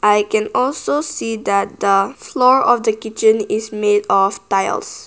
i can also see that the floor of the kitchen is made of tiles.